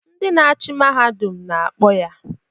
Ndị na-achị Mahadum na-akpọ ya!